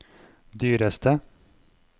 dyreste